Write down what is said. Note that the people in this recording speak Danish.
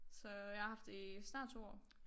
Så jeg har haft det i snart 2 år